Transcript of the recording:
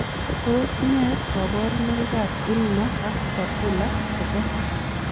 Tos ne kabarunoik ap Ulna ak papula chepo?